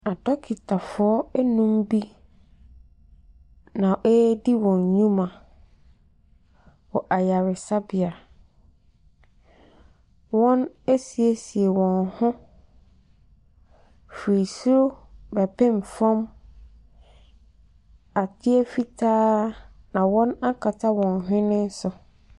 Adɔketafoɔ num bi na redi wɔn nnwuma wɔ asarebea. Wɔasiesie wɔn ho firi soro bɛpem fam. Adeɛ fitaa na wɔaka wɔn hwene so.